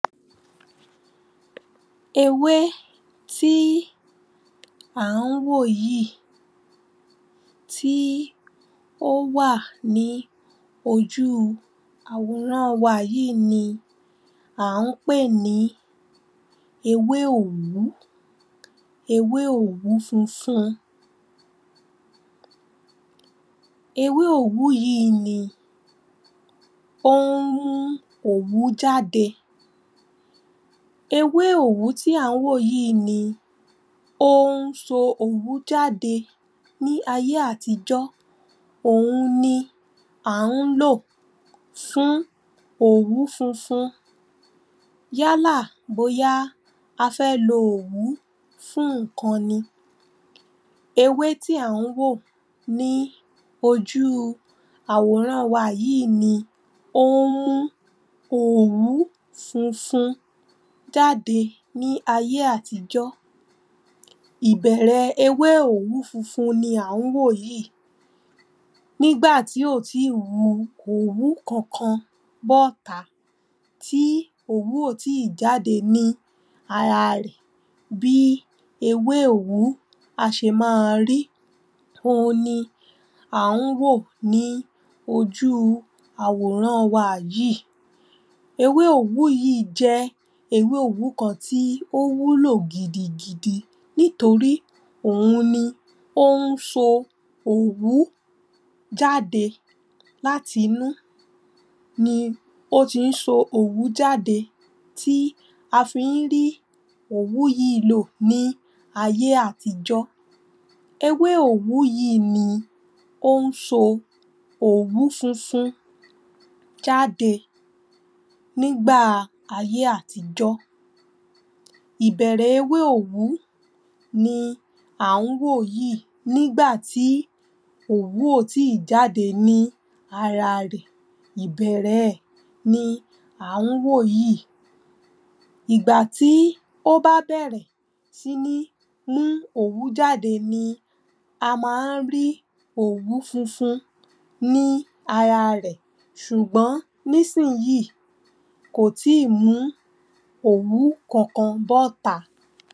Ewé tí à ń wò yìí tí ó wa ní ojú àwòràn wa yìí ni à ń pè ní ewé òwú ewé òwú funfun ewé òwú yìí ni ó ń mú òwú jáde ewé òwú tí à ń wò yìí ni ó ń so òwú jáde ní ayé àtijọ́ òun ni à ń lò fún òwú funfun yálà bóyá a fẹ́ lo òwú fún nǹkan ni Ewé tí à ń wò yìí tí ó wa ní ojú àwòràn wa yìí ni ó ń mú òwú funfun jáde ní ayé àtijọ́ ìbẹ̀rẹ̀ ewé òwú funfun ni à ń wò yìí nígbà tí kò ì tíì wu òwú kankan bọ́ta tí òwú ò tíì bọ́ta ní ara rẹ̀ bí ewé òwú á ṣe máa rí òun ni à ń wò ní ojú àwòràn wa yìí ewé òwú yìí jẹ́ ewé òwú kan tó wúlò gidigidi nítorí òun ni ó ń so òwú jáde láti inú ni ó ti ń so òwú jáde tí a fi ń rí òwú yìí lò ní ayé àtijọ́ ewé òwú yìí ni ó ń so òwú funfun jáde nígbà ayé àtijọ́ ìbẹ̀rẹ̀ ewé òwú ni à ń wò yìí nígbà tí òwú ò tíì jáde ní ara rẹ̀ ìbẹ̀rẹ̀ ẹ̀ ni à ń wò yìí ìgbà tí ó bá bẹ̀rè sí ní mú òwú jáde ni a máa ń ri òwú funfun ní ara rẹ̀ ṣùgbọ́n nísìnyí kò ì tíì mú òwú kankan bọ́ta